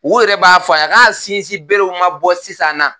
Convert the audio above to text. U yɛrɛw b'a fɔ yan k'a sinsin berew ma bɔ sisan na